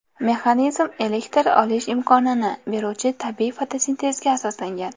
Mexanizm elektr olish imkonini beruvchi tabiiy fotosintezga asoslangan.